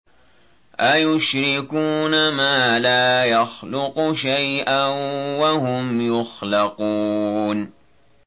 أَيُشْرِكُونَ مَا لَا يَخْلُقُ شَيْئًا وَهُمْ يُخْلَقُونَ